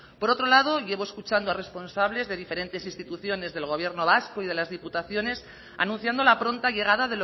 por otro lado llevo escuchando a responsables de diferentes instituciones del gobierno vasco y de las diputaciones anunciando la pronta llegada